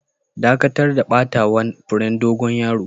Dakatar da batawa'n furen dogon yaron!